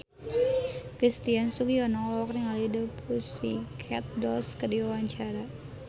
Christian Sugiono olohok ningali The Pussycat Dolls keur diwawancara